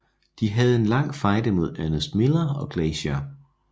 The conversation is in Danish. De havde en lang fejde mod Ernest Miller og Glacier